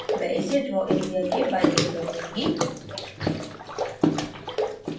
मैं इसे draw area के बाईं ओर रखूंगी